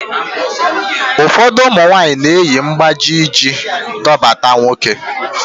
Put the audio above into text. Ufọdu ụmụ nwaanyị na-eyi mgbájí iji dọbata nwoke